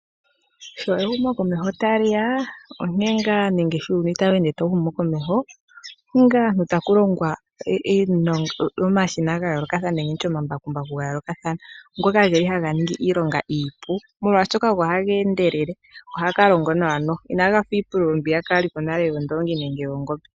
Sho ehumokomeho tali ya, sho uuyuni tawu humu komeho, oku li ngaa nee taku longwa omashina nenge tutye omambakumbaku ga yoolokathana ngoka geli haga ningi iilonga iipu molwaashoka ogo haga endelele, go ohaga longo nawa noho. Inaga fa iipululo mbiyaka yali ko nale yoondoongi nenge yoongombe.